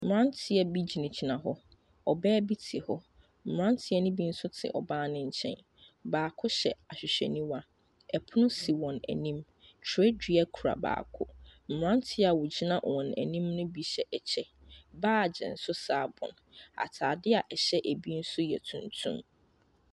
Mberantiɛ bi gyinagyina hɔ. Ɔbaa bi te hɔ. Mberantiɛ ne bi so te ɔbaa ne kyɛn. Baako hyɛ ahwehwɛ niwa, ɛpono si wɔn enim, twerɛ dua ekura baako. Mberantiɛ wogyina wɔn enim ne bi hyɛ akyɛ, baagye nso saa bɔ wɔn, ataadeɛ ɛhyɛ ebi so yɛ tuntum.